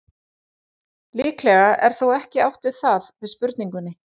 Líklega er þó ekki átt við það með spurningunni.